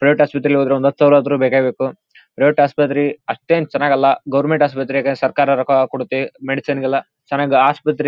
Toyota ಆಸ್ಪತ್ರೆಗೆ ಹೋದ್ರೆ ಒಂದು ಹತ್ತು ಸಾವಿರ ಆದ್ರೂ ಬೇಕೇ ಬೇಕು ಟೊಯೋಟಾ ಆಸ್ಪತ್ರೆ ಅಷ್ಟೇನೂ ಚೆನ್ನಾಗಿಲ್ಲ ಗವರ್ನಮೆಂಟ್ ಆಸ್ಪತ್ರೆಗೆ ಸರಕಾರ ರೊಕ್ಕ ಕೊಡುತ್ತೆ ಮೆಡಿಸನ್ ಗೆಲ್ಲ ಚೆನ್ನಾಗಿ ಆಸ್ಪತ್ರೆ --